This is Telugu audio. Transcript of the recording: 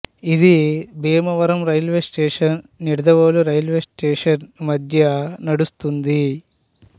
ఇది Bhimavaram railway station Nidadavolu railway station మధ్య నడుస్తుంది